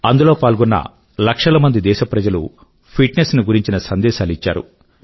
అందులో పాల్గొన్న లక్షల కొద్దీ దేశ ప్రజలు ఫిట్ నెస్ ని గురించి సందేశాలు ఇచ్చారు